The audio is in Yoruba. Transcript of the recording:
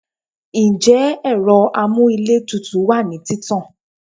njẹ ero amú íle tútú wa ni títàn